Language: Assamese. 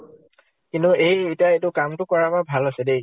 কিন্তু এই এতিয়া ইটো কামটো কৰাৰ পৰা ভাল হৈছে দে।